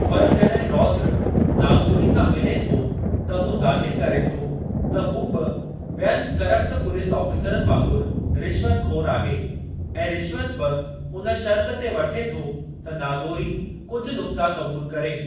पर जॾहिं रौद्र नागोरी सां मिली थो त हू ज़ाहिरु करे थो त हू बि ॿियनि करप्ट पुलीस आफ़ीसरनि वांगुरु रिश्वतख़ोर आहे ऐं रिश्वत बि उन शर्त ते वठे थो त नागोरी कुझु नुक्ता क़बूल करे।